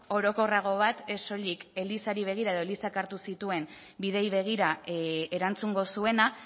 orokorrago bat ez soilik elizari begira edo elizak hartu zituen bideei begira erantzungo zuena